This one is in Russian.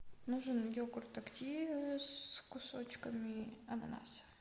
нужен йогурт активия с кусочками ананаса